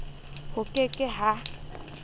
ho ke ke h a